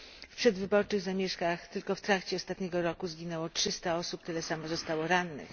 W przedwyborczych zamieszkach tylko w trakcie ostatniego roku zginęło 300 osób, tyle samo zostało rannych.